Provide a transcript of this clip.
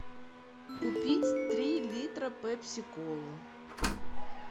купить три литра пепси колы